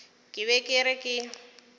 ke be ke re ke